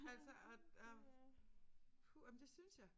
Altså og og og men det synes jeg